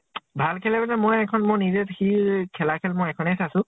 ভাল খেলে মানে মই এখন মই নিজে সি খেলা খেল মই এখনে চাইছো।